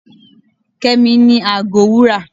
kemi ni àgó wúrà